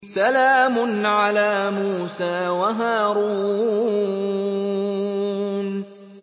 سَلَامٌ عَلَىٰ مُوسَىٰ وَهَارُونَ